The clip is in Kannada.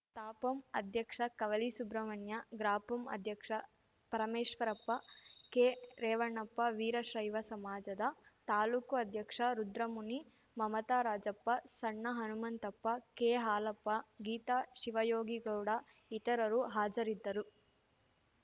ತಾಪಂ ಅಧ್ಯಕ್ಷ ಕವಲಿ ಸುಬ್ರಹ್ಮಣ್ಯ ಗ್ರಾಪಂ ಅಧ್ಯಕ್ಷ ಪರಮೇಶ್ವರಪ್ಪ ಕೆರೇವಣಪ್ಪ ವೀರಶೈವ ಸಮಾಜದ ತಾಲೂಕು ಅಧ್ಯಕ್ಷ ರುದ್ರಮುನಿ ಮಮತಾ ರಾಜಪ್ಪ ಸಣ್ಣ ಹನುಮಂತಪ್ಪ ಕೆಹಾಲಪ್ಪ ಗೀತಾ ಶಿವಯೋಗಿಗೌಡ ಇತರರು ಹಾಜರಿದ್ದರು